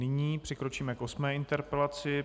Nyní přikročíme k osmé interpelaci.